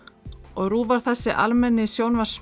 og RÚV var þessi almenni